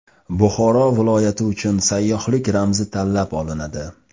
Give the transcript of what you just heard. Buxoro viloyati uchun sayyohlik ramzi tanlab olinadi.